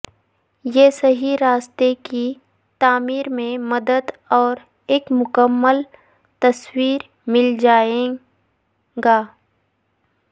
یہ صحیح راستے کی تعمیر میں مدد اور ایک مکمل تصویر مل جائے گا